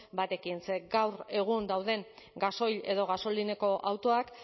batekin ze gaur egun dauden gasoil edo gasolinako autoak